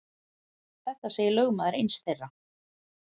Þetta segir lögmaður eins þeirra.